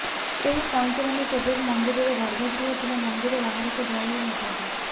ଏହି କଇଁଚମାନେ କେବେବି ମନ୍ଦିରର ଗର୍ଭଗୃହ କିମ୍ବା ମନ୍ଦିର ବାହାରକୁ ଯାଇନଥାନ୍ତି